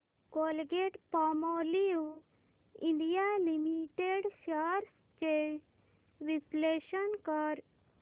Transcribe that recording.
Colgate Palmolive India limited shares चे विश्लेषण कर